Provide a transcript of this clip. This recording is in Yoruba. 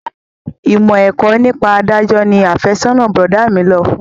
Ìmọ̀ ẹ̀kọ́ nípa adájọ́ ni afẹ́sọ́nà bọ̀dá mi lọ fún